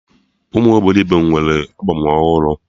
Ụmụ obilogbo nwee albọm ọhụrụ